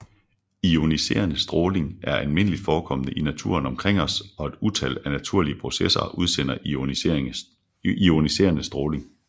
Ioniserende stråling er almindeligt forekommende i naturen omkring os og et utal af naturlige processer udsender ioniserende stråling